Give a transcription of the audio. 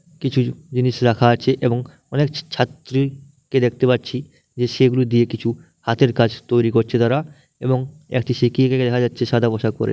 কিছু জিনিস রাখা আছে এবং অনেক ছা ছাত্রীর কে দেখতে পাচ্ছি যে সেগুলো দিয়ে কিছু হাতের কাজ তৈরি করছে তারা এবং একটি শিক্ষিকাকে দেখা যাচ্ছে সাদা পোশাক পরে ।